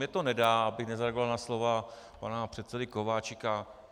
Mně to nedá, abych nezareagoval na slova pana předsedy Kováčika.